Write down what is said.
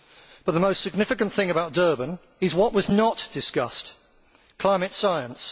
But the most significant thing about Durban is what was not discussed climate science.